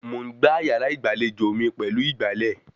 Mò ń gbá yàrá ìgbàlejò mi pẹ̀lú ìgbálẹ̀